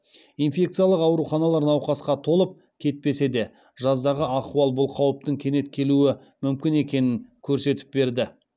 инфекциялық ауруханалар науқасқа толып кетпесе де жаздағы ахуал бұл қауіптің кенет келуі мүмкін екенін көрсетіп берді